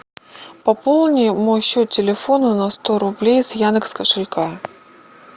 пополни мой счет телефона на сто рублей с яндекс кошелька